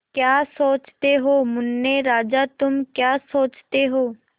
क्या सोचते हो मुन्ने राजा तुम क्या सोचते हो